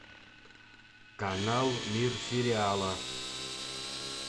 канал мир сериала